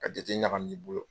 Ka jate ɲagami i bolo.